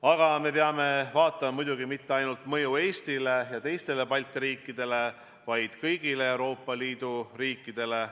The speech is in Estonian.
Aga me ei pea siinkohal vaatama mitte ainult mõju Eestile ja teistele Balti riikidele, vaid kõigile Euroopa Liidu riikidele.